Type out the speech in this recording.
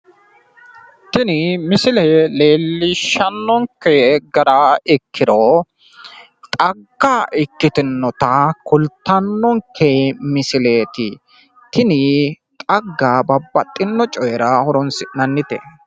Tini misile leellishshannonke gara ikkiro xagga ikkitinota kultannonke misileeti. Tini xagga babbaxino cooyira horoonsi'nannite.